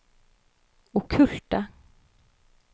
okkulte